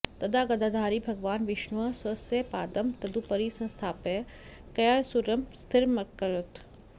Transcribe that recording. तदा गदाधारी भगवान् विष्णुः स्वस्य पादं तदुपरि संस्थाप्य गयासुरम् स्थिरमकरोत्